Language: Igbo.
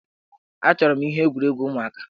Achọrọ m ihe egwuregwu ụmụaka.